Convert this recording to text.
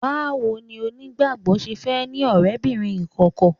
Báwo ni onígbàgbọ́ ṣe fẹ́ ní ọ̀rẹ́bìnrin ìkọ̀kọ̀?